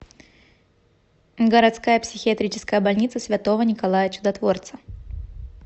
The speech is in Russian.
городская психиатрическая больница святого николая чудотворца